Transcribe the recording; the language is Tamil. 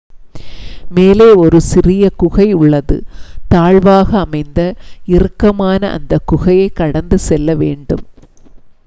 மேலே ஒரு சிறிய குகை உள்ளது தாழ்வாக அமைந்த இறுக்கமான அந்தக் குகையைக் கடந்து செல்லவேண்டும்